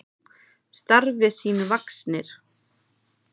Starfi sínu vaxnir.